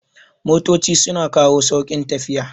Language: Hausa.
Motoci sun kawo sauƙin tafiya